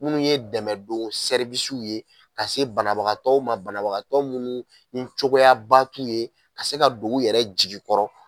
Minnu ye dɛmɛ don ye ka se banabagatɔw ma banabagatɔ munnu ni cogoyabatu ye ka se ka don u yɛrɛ jigi kɔrɔ.